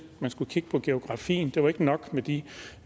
at man skulle kigge på geografien det var ikke nok med de